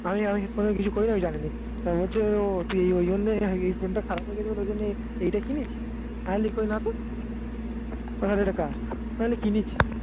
আমি আমি কোন কিছু করিনি আমি জানি নে তা বলছে ও তুই ওই জন্যই এই headphone টা খারাপ হয়ে গেছিল ওই জন্যে এইটা কিনেছিস? আমি বলি কই না তো তাহলে এটা কার? তাহলে কিনেছি